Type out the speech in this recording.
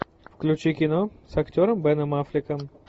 включи кино с актером беном аффлеком